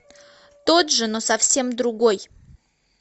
тот же но совсем другой